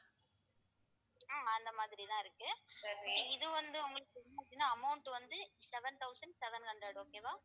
ஹம் அந்த மாதிரிதான் இருக்கு இது வந்து உங்களுக்கு amount வந்து seven thousand seven hundred okay வா